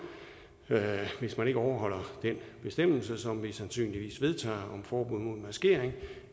hvis man ikke overholder den bestemmelse som vi sandsynligvis vedtager om forbud mod maskering